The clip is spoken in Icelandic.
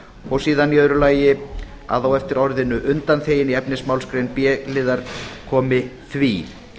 fjögur síðan í öðru lagi að á eftir orðinu undanþeginn í efnismálsgrein b liðar komi því